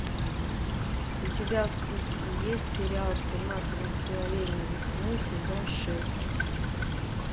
у тебя в списке есть сериал семнадцать мгновений весны сезон шесть